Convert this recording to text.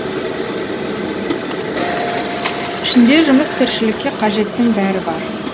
ішінде тұрмыс тіршілікке қажеттің бәрі бар